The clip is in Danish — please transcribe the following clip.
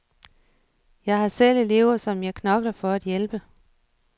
Jeg har selv elever, som jeg knokler for at hjælpe.